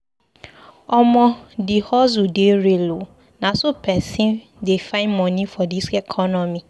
Omo, di hustle dey real o, na so pesin dey find moni for dis economy.